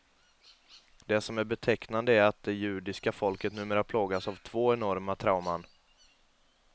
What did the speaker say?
Det som är betecknande är att det judiska folket numera plågas av två enorma trauman.